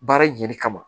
Baara in ɲɛli kama